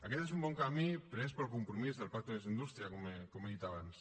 aquest és un bon camí pres pel compromís del pacte més indústria com he dit abans